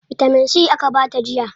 Bitamin C aka bata jiya.